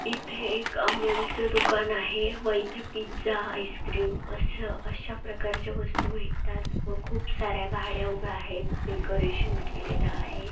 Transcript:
इथे एक अमूलचं दुकान आहे व इथे पिझ्झा आइस-क्रीम असं अश्या प्रकारच्या वस्तु भेटतात व खूप सार्‍या गाड्या उभ्या आहेत डेकोरशन केलेल आहे